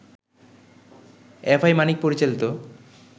F I Manik পরিচালিত